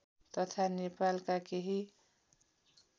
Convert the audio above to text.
तथा नेपालका केही